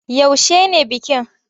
Yaushe ne bikin?